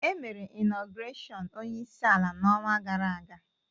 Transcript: E mere ịnogresiọn ọnyeisi ala na ọnwa gara-aga.